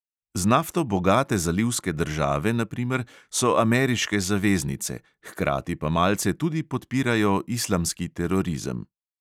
Z nafto bogate zalivske države, na primer, so ameriške zaveznice, hkrati pa malce tudi podpirajo islamski terorizem.